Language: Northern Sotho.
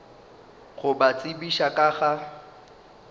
go ba tsebiša ka ga